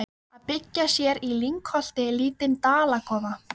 Þórinn, hvað er á áætluninni minni í dag?